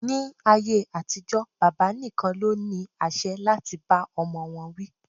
Ni ayé àtijó, bàbá nìkan ló ní àṣẹ láti bá ọmọ wọn wí